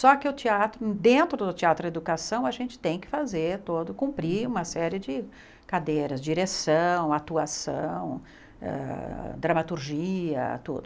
Só que o teatro, dentro do teatro educação, a gente tem que fazer todo, cumprir uma série de cadeiras, direção, atuação, ah dramaturgia, tudo.